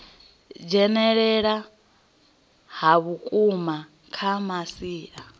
dzhenelela ha vhukuma kha masia